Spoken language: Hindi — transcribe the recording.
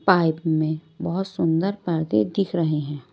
पाइप में बहुत सुंदर पैदे दिख रहे हैं।